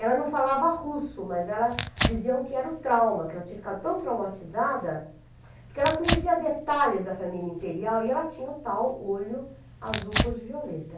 Ela não falava russo, mas diziam que era o trauma, que ela tinha ficado tão traumatizada, porque ela conhecia detalhes da família imperial e ela tinha o tal olho azul cor de violeta.